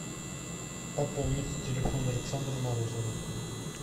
пополнить телефон александра морозова